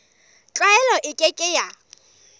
tlwaelo e ke ke ya